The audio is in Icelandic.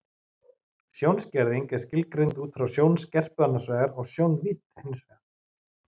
Sjónskerðing er skilgreind út frá sjónskerpu annars vegar og sjónvídd hins vegar.